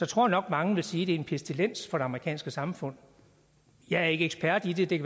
tror nok at mange vil sige at det er en pestilens for det amerikanske samfund jeg er ikke ekspert i det det